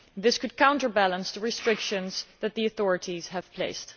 This could counterbalance the restrictions that the authorities have set in place.